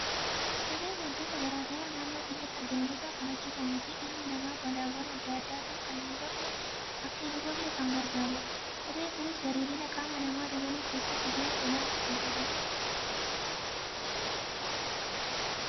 Kopheen waantota garaagaraa naannoo keenyatti argaman irraa kan hojjetamuu fi ilmi namaa balaawwan addaa addaatiin akka hin hubamne kan gargaarudha . Kopheen kunis bareedina qaama namaa dabaluu keessatti gahee olaanaa kan qabudha.